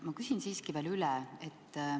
Ma küsin siiski veel üle.